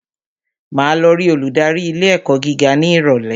Màá lọ rí olùdarí ilé ẹ̀kọ́ gíga ní ìrọ̀lẹ́